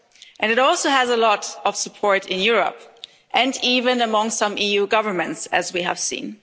And it also has a lot of support in Europe and even among some EU governments, as we have seen.